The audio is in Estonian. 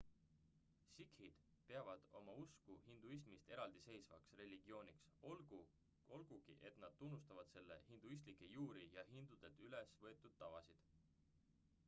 sikhid peavad oma usku hinduismist eraldiseisvaks religiooniks olgugi et nad tunnustavad selle hinduistlikke juuri ja hindudelt ülevõetud tavasid